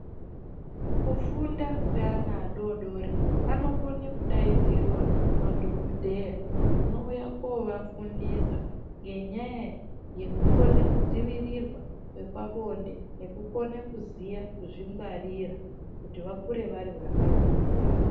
Kufunda kweana adodori anokone kudaidzirwa madhokodheya anouye kovafundisa ngenyaya yekukone kudzivirirwa kwepabonde nekukone kuziya kuzvingwarira kuti vakure vari vana vakangwara.